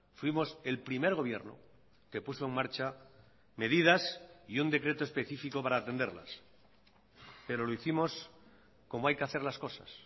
fuimos el primer gobierno que puso en marcha medidas y un decreto específico para atenderlas pero lo hicimos como hay que hacer las cosas